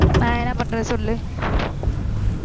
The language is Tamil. நான் என்ன பண்றது சொல்லு